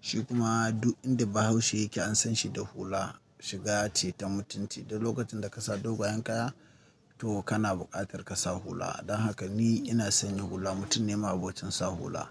shi kuma duk inda Bahaushe yake an san shi da hula shiga ce ta mutunci. Duk lokacin da ka sa dogayen kaya to kana buƙatar ka sa hula. Dan haka ni ina sanya hula. Mutum ne ma'abocin sa hula.